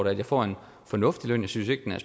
jeg får en fornuftig løn jeg synes ikke at